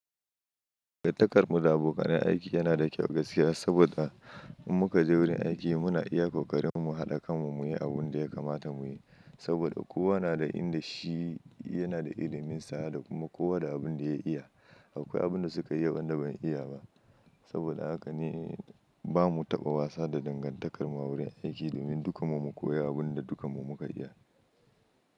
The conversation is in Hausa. Dangantakar mu da abokanai aiki yana da kyau gaskiya saboda in muka je wurin aiki muna iya kokarinmu haɗa kanmu muyi abun da ya kamata muyi. Saboda kowa na da inda shi yana da ilimin sa da kuma kowa da abin da ya iya. Akwai abun da suka iya wanda ban iya ba. Saboda haka ne bamu taɓa wasa da dangantakar mu a wurin aiki domin dukanmu mu koya abin da dukanmu muka iya.